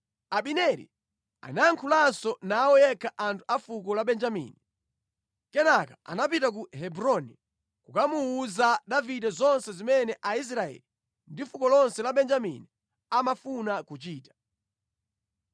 Abineri anayankhulanso nawo yekha anthu a fuko la Benjamini. Kenaka anapita ku Hebroni kukamuwuza Davide zonse zimene Aisraeli ndi fuko lonse la Benjamini amafuna kuchita.